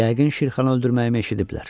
Yəqin Şirxanı öldürməyimi eşidiblər.